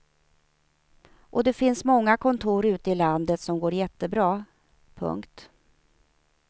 Och det finns många kontor ute i landet som går jättebra. punkt